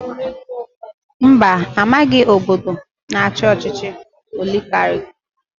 Mba amaghị obodo na-achi ọchịchị oligarki.